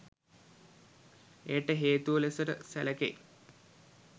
එයට හේතුව ලෙසට සැලකෙයි.